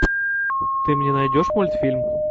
ты мне найдешь мультфильм